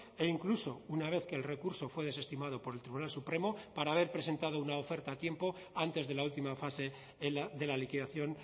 e incluso una vez que el recurso fue desestimado por el tribunal supremo para haber presentado una oferta a tiempo antes de la última fase de la liquidación